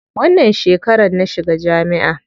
Wannan shekarar na shiga jami'a.